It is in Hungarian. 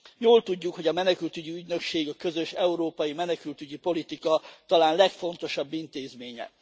Jól tudjuk, hogy a Menekültügyi Ügynökség a közös európai menekültügyi politika talán legfontosabb intézménye.